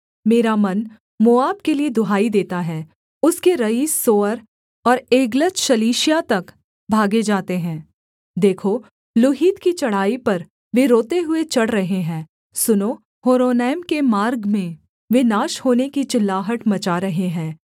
मेरा मन मोआब के लिये दुहाई देता है उसके रईस सोअर और एग्लतशलीशिया तक भागे जाते हैं देखो लूहीत की चढ़ाई पर वे रोते हुए चढ़ रहे हैं सुनो होरोनैम के मार्ग में वे नाश होने की चिल्लाहट मचा रहे हैं